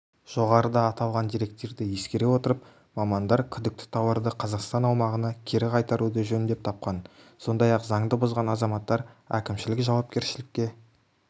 жоғары аталған деректерді ескере отырып мамандар күдікті тауарды қазақстан аумағына кері қайтаруды жөн деп тапқан сондай-ақ заңды бұзған азаматтар әкімшілік жауапкершілікке